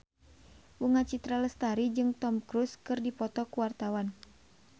Bunga Citra Lestari jeung Tom Cruise keur dipoto ku wartawan